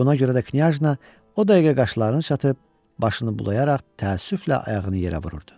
Buna görə də knyajna o dəqiqə qaşlarını çatıb, başını bulayaraq təəssüflə ayağını yerə vururdu.